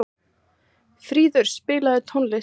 Fríður, spilaðu tónlist.